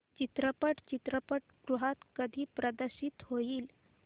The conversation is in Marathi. चित्रपट चित्रपटगृहात कधी प्रदर्शित होईल